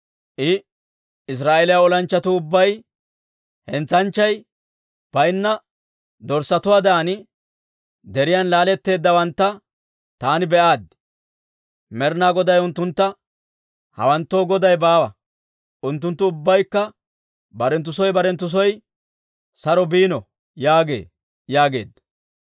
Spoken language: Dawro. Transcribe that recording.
I, «Israa'eeliyaa olanchchatuu ubbay hentsanchchay baynna dorssatuwaadan deriyaan laaletteeddawantta taani be'aaddi. Med'inaa Goday unttuntta, ‹Hawanttoo goday baawa. Unttunttu ubbaykka barenttu soo barenttu soo saro biino› yaagee» yaageedda.